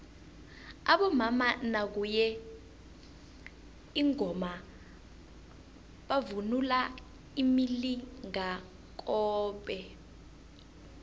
abomama nakuye ingoma bavunula imilingakobe